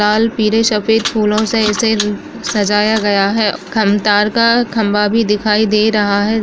लाल पीरे शफ़ेद फूलों से इसे उ सजाया गया है। खमतार का खम्बा भी दिखाई दे रहा है।